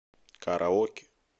караоке